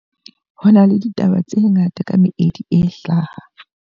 Ho na le ditaba tse ngata ka meedi e hlaha.